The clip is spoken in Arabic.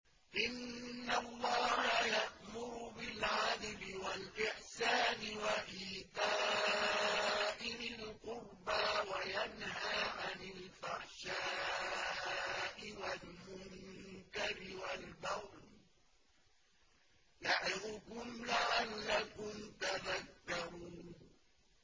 ۞ إِنَّ اللَّهَ يَأْمُرُ بِالْعَدْلِ وَالْإِحْسَانِ وَإِيتَاءِ ذِي الْقُرْبَىٰ وَيَنْهَىٰ عَنِ الْفَحْشَاءِ وَالْمُنكَرِ وَالْبَغْيِ ۚ يَعِظُكُمْ لَعَلَّكُمْ تَذَكَّرُونَ